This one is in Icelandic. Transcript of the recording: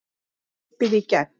Opið í gegn